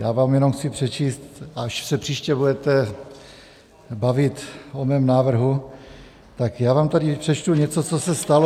Já vám jenom chci přečíst, až se příště budete bavit o mém návrhu, tak já vám tady přečtu něco, co se stalo...